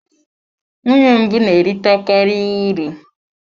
Nwunye mbụ na-erite karị uru.